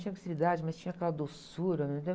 Tinha obscenidade, mas tinha aquela doçura, entendeu?